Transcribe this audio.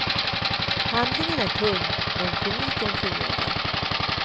Handlingen är tunn men komiken fungerar.